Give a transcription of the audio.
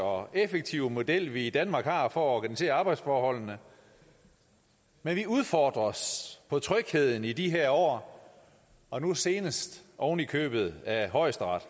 og effektive model vi i danmark har for at organisere arbejdsforholdene men vi udfordres på trygheden i de her år og nu senest oven i købet af højesteret